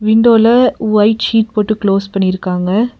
விண்டோல white sheet போட்டு close பண்ணிருக்காங்க.